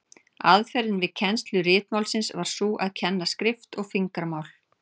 Aðferðin við kennslu ritmálsins var sú að kenna skrift og fingramál.